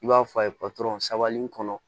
I b'a fɔ a ye patɔrɔn sabali in kɔnɔ